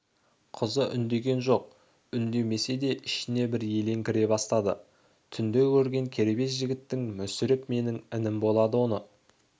қызы үндеген жоқ үндемесе де ішіне бір елең кіре бастады түнде көрген кербез жігітің мүсіреп менің інім болады оны